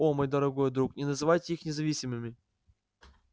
о мой дорогой друг не называйте их независимыми